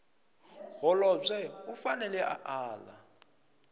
holobye u fanele a ala